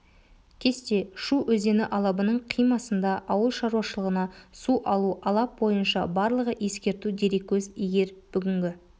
кесте шу өзені алабының қимасында ауыл шаруашылығына су алу алап бойынша барлығы ескерту дереккөз егер бүгінгі